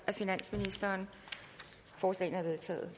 af finansministeren forslagene er vedtaget